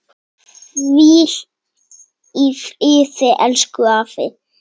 Hvíl í friði, elsku afi.